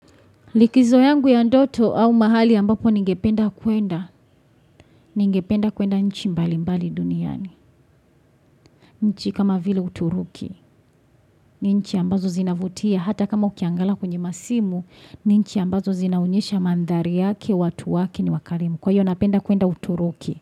Likizo yangu ya ndoto au mahali ambapo ningependa kuenda, ningependa kuenda nchi mbalimbali duniani, nchi kama vile uturuki, ni nchi ambazo zinavutia hata kama ukiangala kwenye masimu, ni nchi ambazo zinaonyesha maandhari yake, watu wake ni wakarimu, kwa hivyo napenda kuenda uturuki.